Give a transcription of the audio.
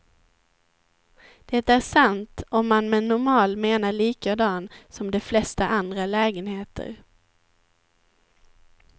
Det är sant, om man med normal menar likadan som de flesta andra lägenheter.